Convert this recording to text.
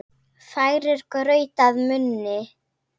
Færir graut að munni.